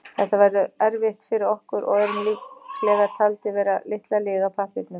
Þetta verður erfitt fyrir okkur og erum líklega taldir vera litla liðið á pappírunum.